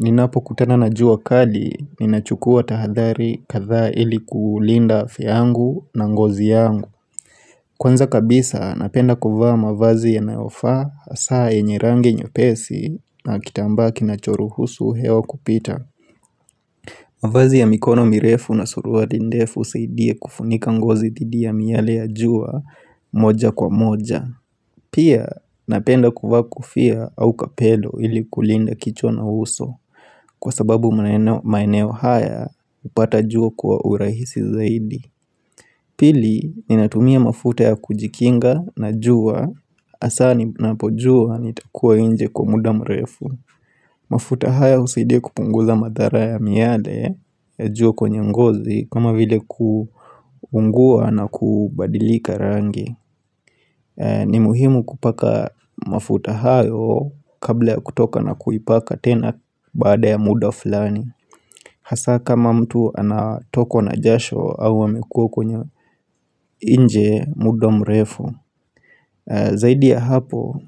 Ninapokutana najua kali ninachukua tahadhari kadhaa ili kuulinda afya yangu na ngozi yangu. Kwanza kabisa napenda kuvaa mavazi yanayofaa hasaa yenye rangi nyepesi na kitambaa kinachoruhusu hewa kupita. Mavazi ya mikono mirefu na suruari ndefu husaidie kufunika ngozi dhidi ya miale ya jua moja kwa moja. Pia napenda kuvaa kofia au kapello ili kulinda kichwa na uso kwa sababu maeneo haya upata jua kwa urahisi zaidi Pili ninatumia mafuta ya kujikinga na jua hasa ninapojua nitakua inje kwa muda mrefu mafuta haya husaidia kupunguza madhara ya miale ya jua kwenye ngozi kama vile kuungua na kubadilika rangi ni muhimu kupaka mafuta hayo kabla ya kutoka na kuipaka tena bada ya muda fulani Hasaa kama mtu anatokwa na jasho au amekua kwenye inje muda mrefu Zaidi ya hapo,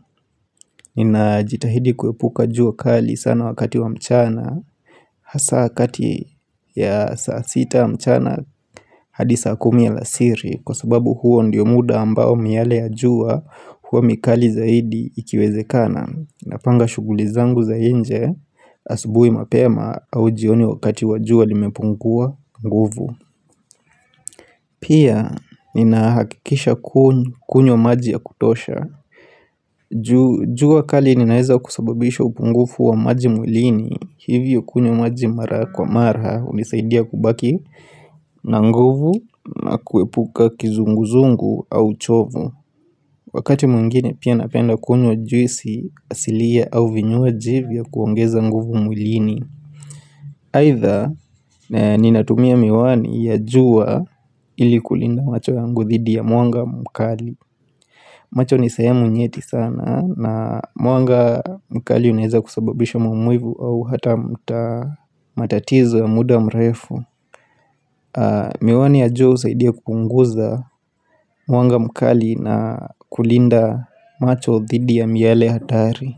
nina jitahidi kuepuka jua kali sana wakati wa mchana Hasa kati ya saa sita mchana hadi saa kumi alasiri Kwa sababu huo ndiyo muda ambao miale ya juwa huwa mikali zaidi ikiwezekana Napanga shuguli zangu za inje asubui mapema au jioni wakati wa juwa limepungua nguvu Pia nina hakikisha kunywa maji ya kutosha jua kali ninaeza kusababisha upungufu wa maji mwilini Hivyo kunywa maji mara kwa mara hunisaidia kubaki na nguvu na kuepuka kizunguzungu au uchovu Wakati mwingine pia napenda kunywa juisi asilia au vinywaji vya kuongeza nguvu mwilini Aidha ninatumia miwani ya juwa ili kulinda macho yangu dhidi ya mwanga mkali macho ni sehemu nyeti sana na mwanga mkali unaeza kusababisha maumivu au hata matatizo ya muda mrefu Miwani ya jua husaidia kupunguza Mwanga mkali na kulinda macho thidi ya miale hatari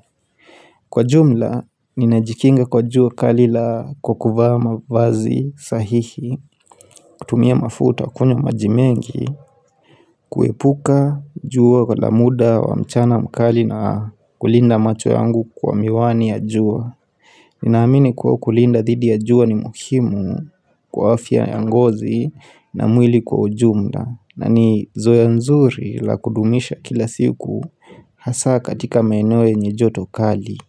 Kwa jumla, ninajikinga kwa jua kali kwa kuvaa mavazi sahihi kutumia mafuta kunywa maji mengi kuepuka jua kwa muda wa mchana mkali na kulinda macho yangu kwa miwani ya jua Ninaamini kuwa kulinda thidi ya jua ni muhimu kwa afya ya ngozi na mwili kwa ujumla na ni zoea nzuri la kudumisha kila siku Hasa katika maeneo yenye joto kali.